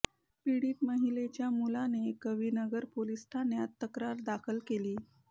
पीडित महिलेच्या मुलाने कवी नगर पोलीस ठाण्यात तक्रार दाखल केली